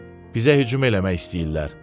Bizə hücum eləmək istəyirlər.